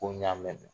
Ko n y'a mɛn